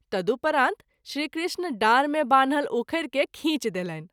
तदुपरांत श्री कृष्ण डाँर मे बान्हल उखैरि के खींच देलनि।